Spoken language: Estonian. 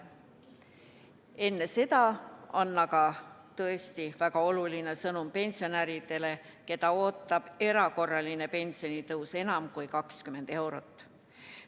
Enne seda on aga tõesti väga oluline sõnum pensionäridele, keda ootab erakorraline pensionitõus: enam kui 20 eurot.